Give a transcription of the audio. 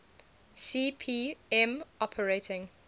cp m operating